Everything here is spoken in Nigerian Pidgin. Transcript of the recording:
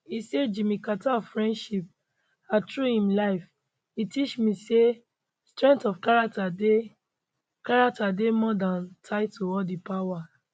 e say jimmy carter friendship and through im life e teach me say strength of character dey character dey more than title or di power